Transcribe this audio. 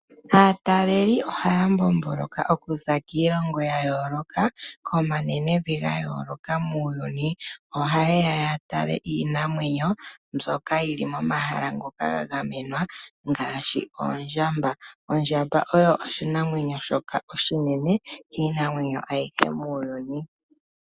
Aataleli ohaya mbomboloka okuza kiilongo ya yooloka, komanenevi ga yooloka muuyuni. Oha yeya ya tale iinamwenyo mbyoka yili momahala ngoka ga gamwenwa ngaashi oondjamba. Ondjamba oyo oshinamwenyo shoka oshinene kiinamwenyo ayihe muuyuni.